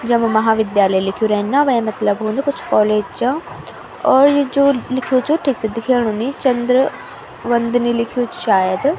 जब महाविद्यालय लिख्युं रेंद न वे मतलब हुन्द कुछ कॉलेज चा और यु जू लिख्युं च ठीक से दिखेणु नी चन्द्र वन्दनी लिख्युं च शायद।